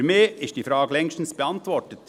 Für mich ist diese Frage längstens beantwortet: